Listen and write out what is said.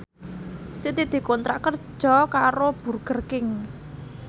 Siti dikontrak kerja karo Burger King